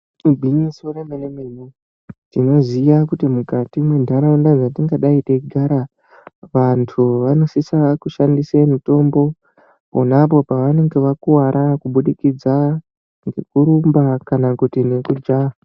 Igwinyiso remene mene tinoziva kuti mukati mendaraunda dzatingadai teyigara vantu vanosisa kushandise mutombo ponapo pavanenge vakuvara kubudikidza nekurumba kana kuti nekujaha.